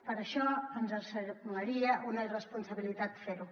per això ens semblaria una irresponsabilitat fer ho